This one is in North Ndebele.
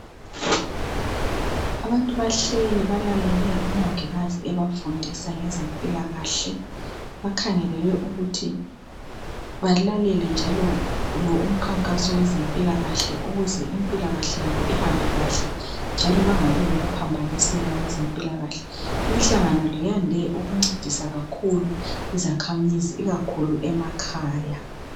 Abantu bahleli balalele umongikazi ebafundisa ngeze mpilakahle kukhangelelwe ukuthi balalele njalo imkhankaso kwezempilakahle ukuze impilakahle yabo ihambe kahle njalo bengabi lokuphambaniseka kwezempilakahle imhlangano le iyandise ukungcedisa kakhulu izakhamizi ikakhulu emakhaya